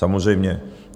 Samozřejmě.